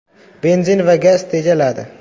Benzin va gaz tejaladi.